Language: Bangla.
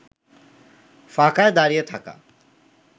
ফাঁকায় দাড়িয়ে থাকা